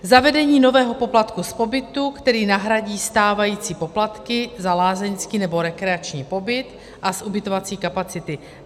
Zavedení nového poplatku z pobytu, který nahradí stávající poplatky za lázeňský nebo rekreační pobyt a z ubytovací kapacity.